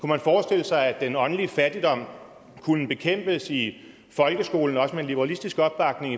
man forestille sig at den åndelige fattigdom kunne bekæmpes i folkeskolen også med en liberalistisk opbakning